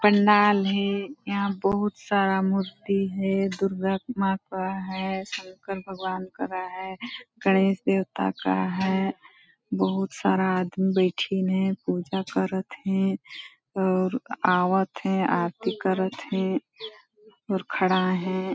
पंडाल हे यहाँ बहुत सारा मूर्ति हे दुर्गा माँ का है शंकर भगवान करा है गणेश देवता का है बहुत सारा आदमी बइठिन है पूजा करत हे और आवत है आरती करत हे और खड़ा हें।